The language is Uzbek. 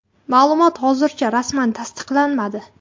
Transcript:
Ma’lumot hozircha rasman tasdiqlanmadi.